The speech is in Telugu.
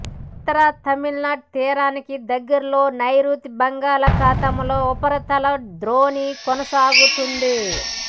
ఉత్తర తమిళనాడు తీరానికి దగ్గరలో నైరుతి బంగాళాఖాతంలో ఉపరితల ద్రోణి కొనసాగుతోంది